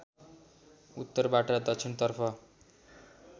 उत्तरबाट दक्षिणतर्फ